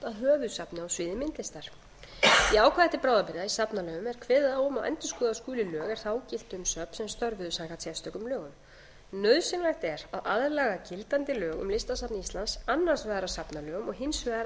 að höfuðsafni á sviði myndlistar í ákvæði til bráðabirgða í safnalögum er kveðið á um að endurskoða skuli lög er þá giltu um söfn er störfuðu samkvæmt sérstökum lögum nauðsynlegt er að aðlaga gildandi lög um listasafn íslands annars vegar að safnalögum og hins vegar að annarri rammalöggjöf